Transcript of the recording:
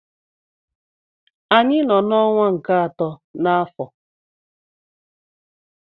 Anyị nọ n'ọnwa nke atọ n'afọ.